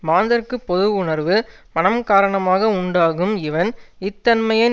மாந்தர்க்குப் பொது உணர்வு மனம் காரணமாக உண்டாகும் இவன் இத்தன்மையன்